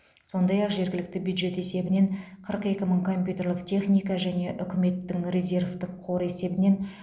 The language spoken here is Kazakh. сондай ақ жергілікті бюджет есебінен қырық екі мың компьютерлік техника және үкіметтің резервтік қоры есебінен